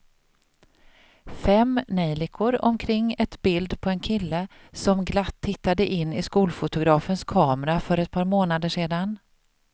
Fem neljikor omkring ett bild på en kille som glatt tittade in i skolfotografens kamera för ett par månader sedan.